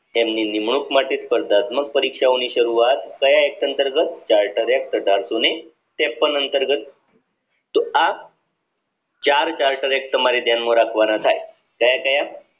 તેમની નિમણૂંક માટે સ્પર્ધાત્મક પરીક્ષાઓની શરૂવાત ક્યાં act અંતર્ગત charter act અઢારશોને ત્રેપન અંતર્ગત તો આ ચાર charter act તમારે ધ્યાન માં રાખવાના હતા ક્યાં ક્યાં